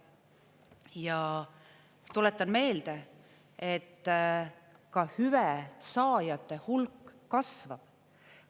Ja tuletan meelde, et ka hüve saajate hulk kasvab.